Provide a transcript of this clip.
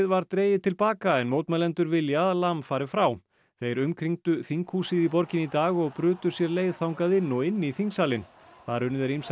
var dregið til baka en mótmælendur vilja að Lam fari frá þeir umkringdu þinghúsið í borginni í dag og brutu sér leið þangað inn og inn í þingsalinn þar unnu þeir ýmsar